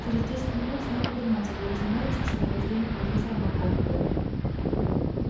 через десять минут снегг вернулся и разумеется в сопровождении профессора макгонагалл